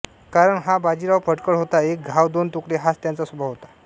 कारण हा बाजीराव फटकळ होता एक घाव दोन तुकडे हाच त्याचा स्वभाव होता